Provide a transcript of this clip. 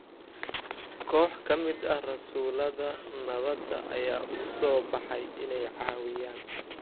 Koox ka mid ah Rasuullada Nabadda ayaa u soo baxay inay caawiyaan.